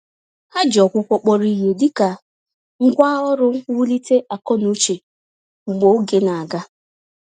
Ha ji ọgwụgwọ kpọrọ ìhè, dịka ngwá ọrụ mwulite akọ-n'uche mgbè oge na-aga.